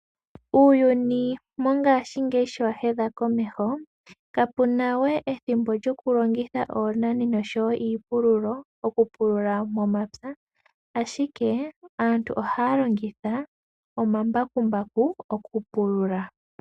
Uuyuni mongashingeyi sho wa hedha komeho, kapu na we ethimbo lyokulongitha oonani noshowo iipululo okupulula momapya, ashike aantu ohaya longitha omambakumbaku okupulula.